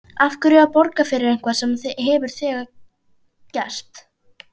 Af hverju að borga fyrir eitthvað sem þegar hefur gerst?